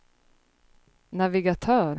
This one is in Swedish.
navigatör